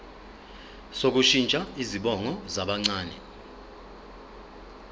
sokushintsha izibongo zabancane